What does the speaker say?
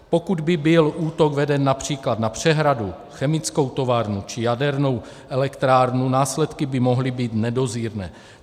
Pokud by byl útok veden například na přehradu, chemickou továrnu či jadernou elektrárnu, následky by mohly být nedozírné.